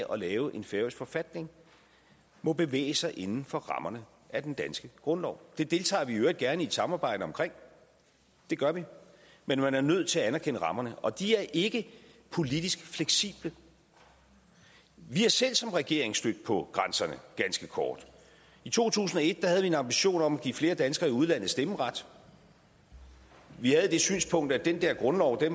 at lave en færøsk forfatning må bevæge sig inden for rammerne af den danske grundlov det deltager vi i øvrigt gerne i et samarbejde om det gør vi men man er nødt til at anerkende rammerne og de er ikke politisk fleksible vi er selv som regering stødt på grænserne ganske kort i to tusind og et havde vi en ambition om at give flere danskere i udlandet stemmeret vi havde det synspunkt at den dér grundlov da